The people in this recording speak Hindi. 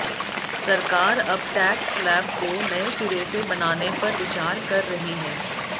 सरकार अब टैक्स स्लैब को नए सिरे से बनाने पर विचार कर रही है